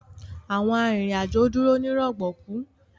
Awọn arinrin-ajo dúró ni rọgbọkú.